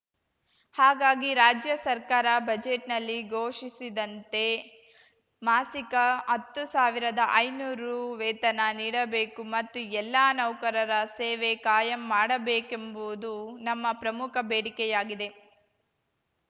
ಹಾಗಾಗಿ ರಾಜ್ಯ ಸರ್ಕಾರ ಬಜೆಟ್‌ನಲ್ಲಿ ಘೋಷಿಸಿದಂತೆ ಮಾಸಿಕ ಹತ್ತು ಸಾವಿರದಐನೂರು ರು ವೇತನ ನೀಡಬೇಕು ಮತ್ತು ಎಲ್ಲ ನೌಕರರ ಸೇವೆ ಕಾಯಂ ಮಾಡಬೇಕೆಂಬುವುದು ನಮ್ಮ ಪ್ರಮುಖ ಬೇಡಿಕೆಯಾಗಿದೆ